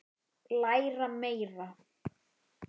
Læra meira?